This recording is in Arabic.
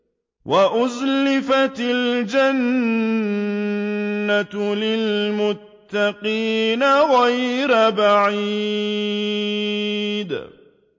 وَأُزْلِفَتِ الْجَنَّةُ لِلْمُتَّقِينَ غَيْرَ بَعِيدٍ